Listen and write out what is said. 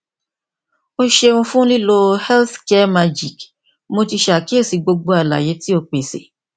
o ṣeun fun lilo healthcaremagic mo ti ṣe akiyesi gbogbo alaye ti o pese